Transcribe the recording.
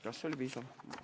" Kas see oli piisav?